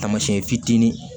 Taamasiyɛn fitinin